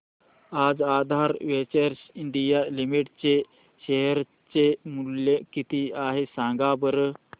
आज Aadhaar ventures India limited चे share चे मूल्य किती आहे सांगा बरं